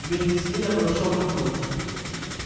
вместе с ней я подошёл к окну